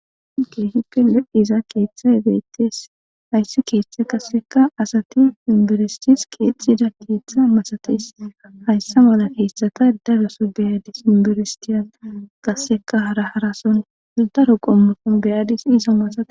Giihippe le7iza keeththa ebeetes hayssi keeththe qasseka asati inbiristis keexxida keeththa masates hayssa mala keessata daroso beyadis inbiristiya qasseka hara harasondaro qommafon beyadis izo masae.